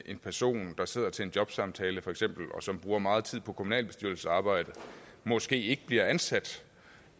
en person der sidder til en jobsamtale feks og som bruger meget tid på kommunalbestyrelsesarbejde måske ikke bliver ansat